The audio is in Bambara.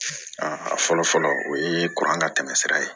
a fɔlɔ fɔlɔ o ye ka tɛmɛsira ye